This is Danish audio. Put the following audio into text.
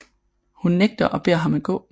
Hun nægter og beder ham at gå